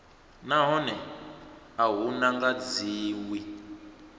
nahone a hu nga dzhiwi